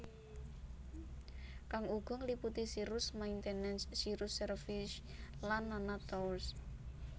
Kang uga ngliputi Cirrus Maintenance Cirrus Service lan nana tours